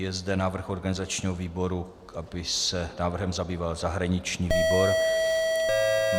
Je zde návrh organizačního výboru, aby se návrhem zabýval zahraniční výbor.